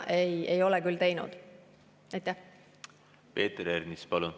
Peeter Ernits, palun!